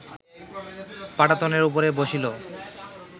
পাটাতনের উপরে বসিল